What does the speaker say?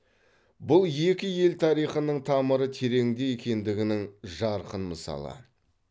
бұл екі ел тарихының тамыры тереңде екендігінің жарқын мысалы